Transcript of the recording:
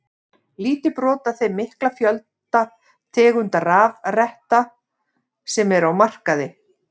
Lítið brot af þeim mikla fjölda tegunda rafretta sem eru á markaði.